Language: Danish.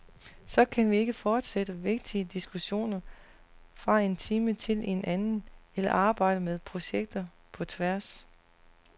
Så kan vi ikke fortsætte vigtige diskussioner fra en time til en anden, eller arbejde med projekter på tværs.